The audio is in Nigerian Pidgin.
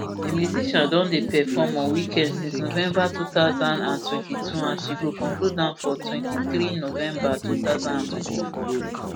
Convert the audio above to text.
di musician don dey perform on weekends since november two thousand and twenty-two and she go conclude am for twenty-three november two thousand and twenty-four